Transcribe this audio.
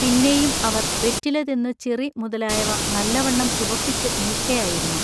പിന്നേയും അവർ വെറ്റിലതിന്നു ചിറി മുതലായവ നല്ലവണ്ണം ചുവപ്പിച്ചു നില്ക്കയായിരുന്നു.